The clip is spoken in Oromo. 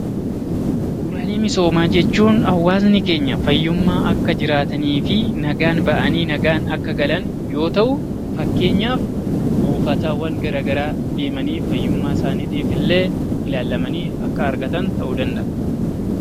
Bu'uuraalee misoomaa jechuun hawaasni keenya fayyummaa akka jiraataniif, nagaan bahaanii nagaan akka galaniif yoo ta'u. Fakkeenyaaf buufatawwan garagaraa deemanii fayyummaa isaaniitiif illee ilaalamanii akka argatan ta'uu danda'a.